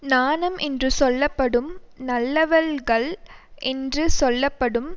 நாணம் என்று சொல்ல படும் நல்லவள் கள் என்று சொல்ல படும்